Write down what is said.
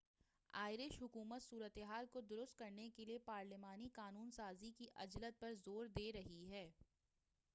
Irish حکومت صورتحال کو درست کرنے کے لیے پارلیمانی قانون سازی کی عجلت پر زور دے رہی ہے